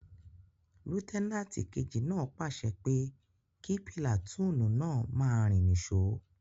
Lútẹ́nàtì kejì náà pàṣẹ pé kí pìlàtúùnù náà máa rìn ní sò